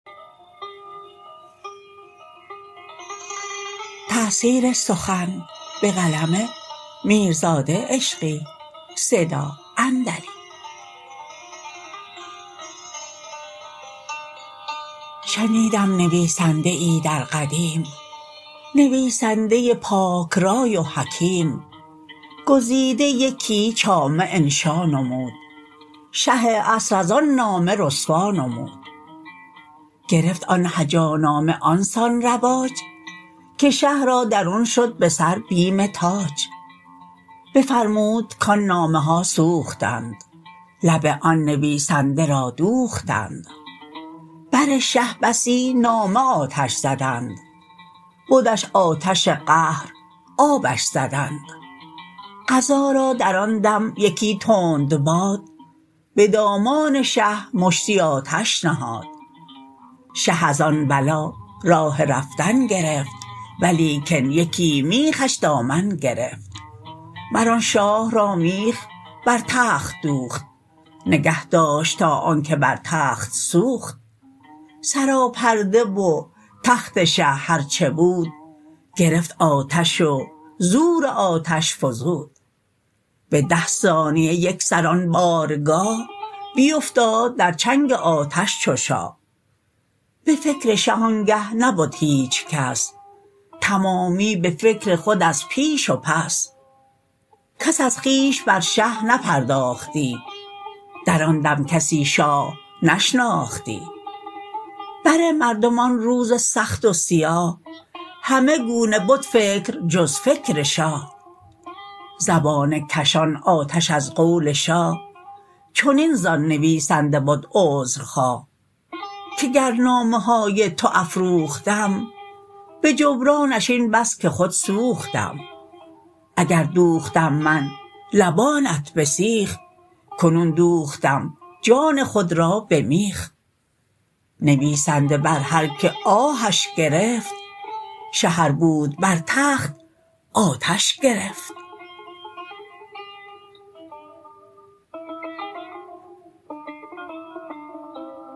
شنیدم نویسنده ای در قدیم نویسنده پاک رأی و حکیم گزیده یکی چامه انشا نمود شه عصر از آن نامه رسوا نمود گرفت آن هجانامه آنسان رواج که شه را درون شد به سر بیم تاج بفرمود کآن نامه ها سوختند لب آن نویسنده را دوختند بر شه بسی نامه آتش زدند بدش آتش قهر آبش زدند قضا را در آن دم یکی تند باد به دامان شه مشتی آتش نهاد شه از آن بلا راه رفتن گرفت ولیکن یکی میخش دامن گرفت مر آن شاه را میخ بر تخت دوخت نگهداشت تا آن که بر تخت سوخت سراپرده و تخت شه هر چه بود گرفت آتش و زور آتش فزود به ده ثانیه یکسر آن بارگاه بیفتاد در چنگ آتش چو شاه به فکر شه آنگه نبد هیچ کس تمامی به فکر خود از پیش و پس کس از خویش بر شه نپرداختی در آن دم کسی شاه نشناختی بر مردم آن روز سخت و سیاه همه گونه بد فکر جز فکر شاه زبانه کشان آتش از قول شاه چنین ز آن نویسنده بد عذرخواه که گر نامه های تو افروختم به جبرانش این بس که خود سوختم اگر دوختم من لبانت به سیخ کنون دوختم جان خود را به میخ نویسنده بر هر که آهش گرفت شه ار بود بر تخت آتش گرفت